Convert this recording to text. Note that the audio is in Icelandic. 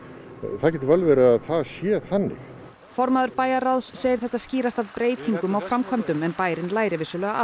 það getur vel verið að það sé þannig formaður bæjarráðs segir þetta skýrast af breytingum á framkvæmdum en bærinn læri af